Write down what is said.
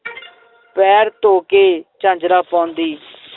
ਪੈਰ ਧੋ ਕੇ ਝਾਂਜਰਾਂ ਪਾਉਂਦੀ